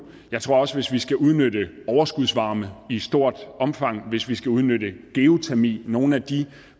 jeg tror også at hvis vi skal udnytte overskudsvarme i stort omfang hvis vi skal udnytte geotermi og nogle af de